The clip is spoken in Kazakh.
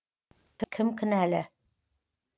кім кінәлі